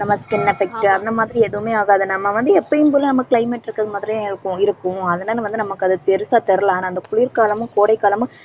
நம்ம skin effect அந்த மாதிரி எதுவுமே ஆகாது. நம்ம வந்து எப்பவும் போல climate இருக்கிற மாதிரியே இருக்கும் இருக்கும். அதனால வந்து, நமக்கு அது பெருசா தெரியலை. ஆனால் அந்த குளிர்காலமும், கோடை காலமும்,